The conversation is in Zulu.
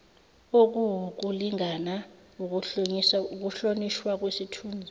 okuwukulingana ukuhlonishwa kwesithunzi